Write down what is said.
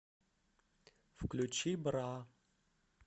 включи бра